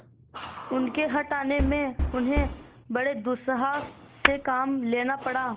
उनके हटाने में उन्हें बड़े दुस्साहस से काम लेना पड़ा